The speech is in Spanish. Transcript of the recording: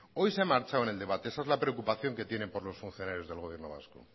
hoy se ha marchado en el debate esa es la preocupación que tiene por los funcionarios del gobierno vasco